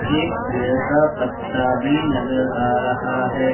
एक पेड़ का पत्ता भी नजर आ रहा है।